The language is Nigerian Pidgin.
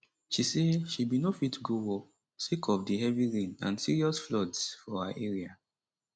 she say she bin no fit go work sake of di heavy rain and serious floods for her area